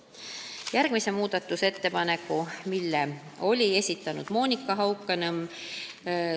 Järgmise muudatusettepaneku oli esitanud Monika Haukanõmm.